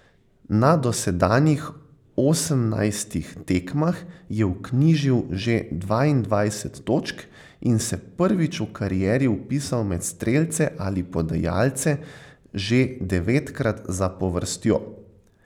Na dosedanjih osemnajstih tekmah je vknjižil že dvaindvajset točk in se prvič v karieri vpisal med strelce ali podajalce že devetkrat zapovrstjo.